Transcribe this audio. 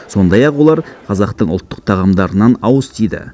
сондай ақ олар қазақтың ұлттық тағамдарынан ауыз тиді